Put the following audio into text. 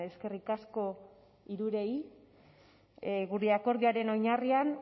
eskerrik asko hirurei gure akordioaren oinarrian